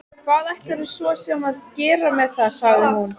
Hvað ætlarðu svo sem að gera með það, sagði hún.